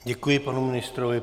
Děkuji panu ministrovi.